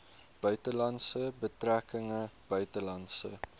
buitelandse betrekkinge buitelandse